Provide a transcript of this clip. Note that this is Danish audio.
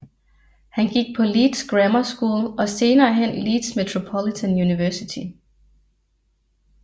Han gik på Leeds Grammar School og senere hen Leeds Metropolitan Unversity